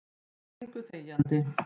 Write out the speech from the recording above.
Þeir gengu þegjandi.